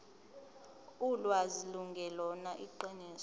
ulwazi lungelona iqiniso